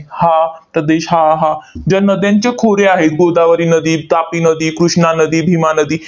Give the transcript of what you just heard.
हा प्रदेश, हा, हा, जे नद्यांचे खोरे आहेत, गोदावरी नदी, तापी नदी, कृष्णा नदी, भीमा नदी